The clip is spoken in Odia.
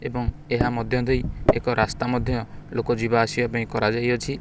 ଏବଂ ଏହା ମଧ୍ୟ ଦେଇ ଏକ ରାସ୍ତା ମଧ୍ୟ ଲୋକ ଯିବା ଆସିବା ପାଇଁ କରାଯାଇଅଛି।